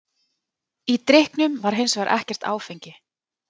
Í drykknum var hins vegar ekkert áfengi.